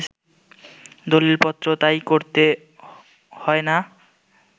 দলিলপত্রও তাই করতে হয় না